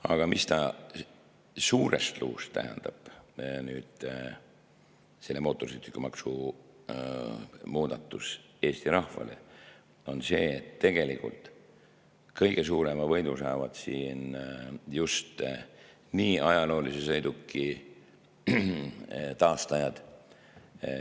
Aga suurest luust tähendab see mootorsõidukimaksu muudatus Eesti rahvale seda, et tegelikult kõige suurema võidu saavad just ajaloolise sõiduki taastajad.